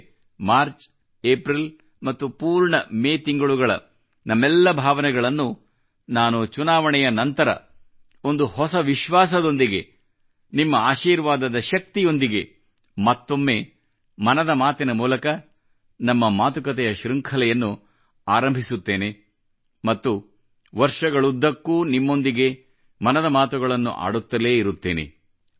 ಅಂದರೆ March April ಮತ್ತು ಪೂರ್ಣ ಮೇ ತಿಂಗಳುಗಳ ನಮ್ಮೆಲ್ಲ ಭಾವನೆಗಳನ್ನು ನಾನು ಚುನಾವಣೆಯ ನಂತರ ಒಂದು ಹೊಸ ವಿಶ್ವಾಸದೊಂದಿಗೆ ನಿಮ್ಮ ಆಶೀರ್ವಾದದ ಶಕ್ತಿಯೊಂದಿಗೆ ಮತ್ತೊಮ್ಮೆ ಮನದ ಮಾತಿನ ಮೂಲಕ ನಮ್ಮ ಮಾತುಕತೆಯ ಶೃಂಖಲೆಯನ್ನು ಆರಂಭಿಸುತ್ತೇನೆ ಮತ್ತು ವರ್ಷಗಳುದ್ದಕ್ಕೂ ನಿಮ್ಮೊಂದಿಗೆ ಮನದ ಮಾತುಗಳನ್ನಾಡುತ್ತಲೇ ಇರುತ್ತೇನೆ